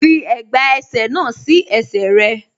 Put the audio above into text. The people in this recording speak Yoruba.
Fi ẹ̀gbà ẹsẹ̀ náà sí ẹsẹ̀ rẹ.